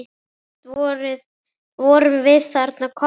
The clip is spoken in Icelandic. Samt vorum við þarna komnar.